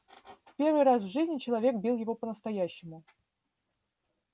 в первый раз в жизни человек бил его по настоящему